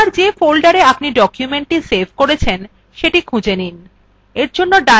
এবার যে folderএ আপনি documentthe সেভ করেছেন সেটি খুঁজে নিন